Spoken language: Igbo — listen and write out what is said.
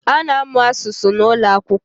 A na-amụ asụsụ n’ụlọakwụkwọ